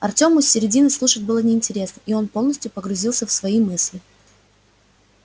артёму с середины слушать было неинтересно и он полностью погрузился в свои мысли